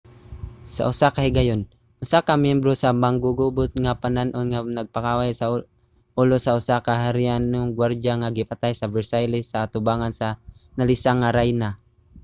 sa usa ka higayon usa ka myembro sa manggugubot nga panon ang nagpakaway sa ulo sa usa ka harianong guwardya nga gipatay sa versailles sa atubangan sa nalisang nga rayna